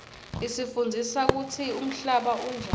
isifundzisa kutsi umhlaba unjani